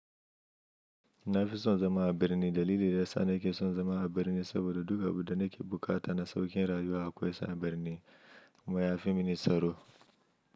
Na fi son zama a birni. Dalili da ya sa na ke son zama a birni saboda duk abin da nake bukata na sauƙin rayuwa akwai su a birni. Ma ya fi mini tsaro.